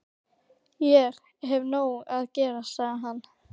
Ég hef nóg að gera, sagði hann.